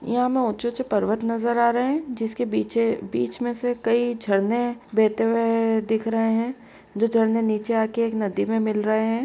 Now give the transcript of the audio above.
यहाँ हमें ऊँचे-ऊँचे पर्वत नजर आ रहें जिसके बिचे बीच में से कई झरने बेहते हुए ऐ दिख रहें हैं। जो झरने नीचे आके एक नदी में मिल रहें हैं।